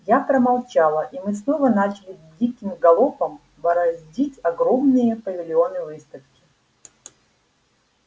я промолчала и мы снова начали диким галопом бороздить огромные павильоны выставки